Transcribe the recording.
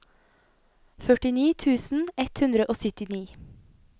førtini tusen ett hundre og syttini